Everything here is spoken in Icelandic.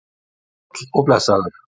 Sæll og blessaður